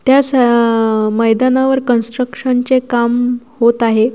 त्या अशा मैदानावर कन्स्ट्रक्शन चे काम होत आहे.